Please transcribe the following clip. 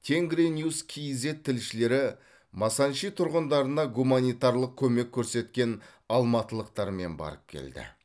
тенгриньюс кейзэт тілшілері масанчи тұрғындарына гуманитарлық көмек көрсеткен алматылықтармен барып келді